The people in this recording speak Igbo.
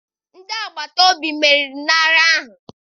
Ndị agbata obi meriri n'agha ahụ.